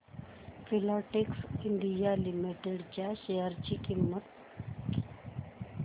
Filatex India limited च्या share ची किंमत